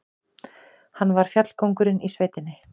Hann var fjallkóngurinn í sveitinni.